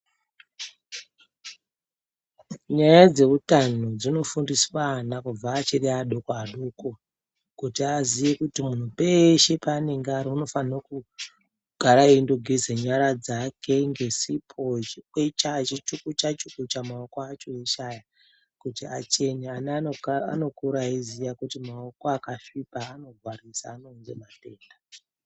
Nyaya dzeutano dzinofundiswa ana kubva achiri adoko-adoko, kuti aziye kuti muntu peshe paanenge ari anofanira kugara eyindogeza nyara dzake ngesipo, achikwecha, achichukucha-chukucha maoko acho eshe aya kuti achene, ana anokura eyiziya kuti maoko akasvipa anorwarisa ,anounza matenda.